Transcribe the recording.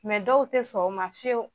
dɔw ti sɔn o ma fiyewu.